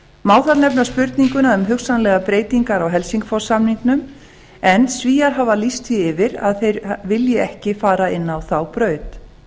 má þar nefna spurninguna um hugsanlegar breytingar á helsingfors samningnum en svíar hafa lýst því yfir að þeir vilji ekki fara inn á þá braut